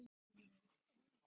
Líkaminn stendur eftir.